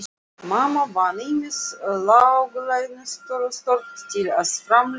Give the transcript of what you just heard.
Mamma vann ýmis láglaunastörf til að framfleyta fjölskyldunni.